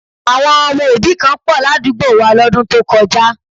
Àwọn ọmọ òbí kan pọ̀ ládùúgbò wa lọ́dún tó kọjá